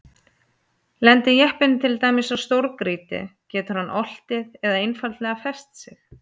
Lendi jeppinn til dæmis á stórgrýti getur hann oltið eða einfaldlega fest sig.